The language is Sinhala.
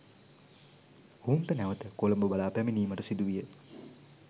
ඔවුන්ට නැවත කොළඹ බලා පැමිණීමට සිදුවිය